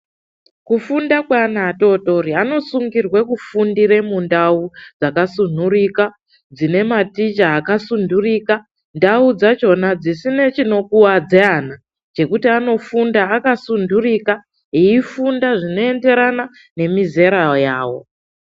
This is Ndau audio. Kufunda kweana adodori anosungirwa mundau dzakasunhurika dzine maticha akasunhurika ,ndau dzacho dzisina chinokuwadza ana zvekuti anofunda akasundurika eifunda zvinoenderana nemizera yavo.